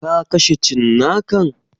Ka kashe cinnakan?